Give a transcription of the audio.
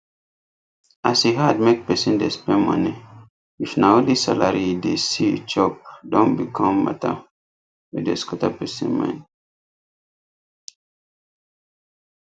as e hard make pesin dey spend money if na only salary e dey see chop don become matter wey dey scatter person mind